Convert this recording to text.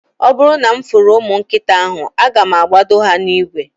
Oburu na mfuru umu nkita ahu, aga mu agbodo ya na igwe